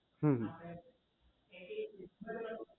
હમ